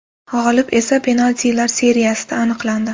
G‘olib esa penaltilar seriyasida aniqlandi.